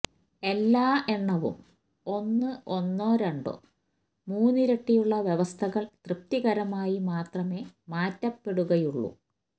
എല്ലാ എണ്ണവും ഒന്ന് ഒന്നോ രണ്ടോ മൂന്നിരട്ടിയുള്ള വ്യവസ്ഥകൾ തൃപ്തികരമായി മാത്രമേ മാറ്റപ്പെടുകയുള്ളൂ